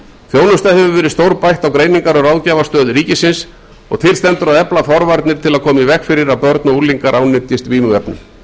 þjónusta hefur verið stórbætt á greiningar og ráðgjafarstöð ríkisins og til stendur að efla forvarnir til að koma í veg fyrir að börn og unglingar ánetjist vímuefnum